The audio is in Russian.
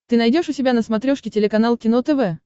ты найдешь у себя на смотрешке телеканал кино тв